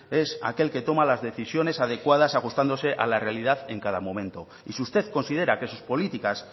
es aquel que toma las decisiones adecuadas ajustándose a la realidad en cada momento y si usted considera que sus políticas